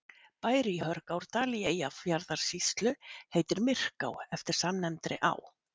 bær í hörgárdal í eyjafjarðarsýslu heitir myrká eftir samnefndri á